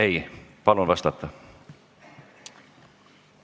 Ei, palun vastata!